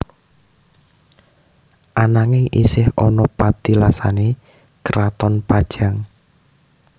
Ananging isih ana patilasané karaton Pajang